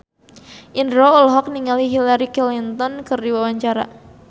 Indro olohok ningali Hillary Clinton keur diwawancara